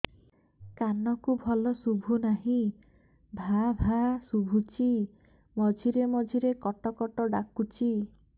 କାନକୁ ଭଲ ଶୁଭୁ ନାହିଁ ଭାଆ ଭାଆ ଶୁଭୁଚି ମଝିରେ ମଝିରେ କଟ କଟ ଡାକୁଚି